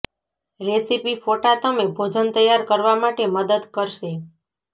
recipe ફોટા તમે ભોજન તૈયાર કરવા માટે મદદ કરશે